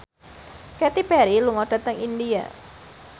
Katy Perry lunga dhateng India